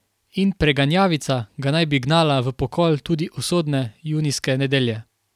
In preganjavica ga naj bi gnala v pokol tudi usodne junijske nedelje.